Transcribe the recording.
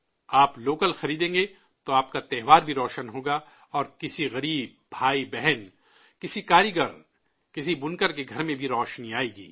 آپ لوکل خریدیں گے تو آپ کا تہوار بھی روشن ہوگا اور کسی غریب بھائی بہن، کسی کاریگر، کسی بنکر کے گھر میں بھی روشنی آئے گی